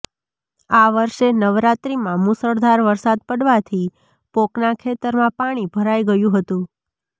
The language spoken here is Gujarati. આ વર્ષે નવરાત્રીમાં મુશળધાર વરસાદ પડવાથી પોંકના ખેતરમાં પાણી ભરાઇ ગયું હતું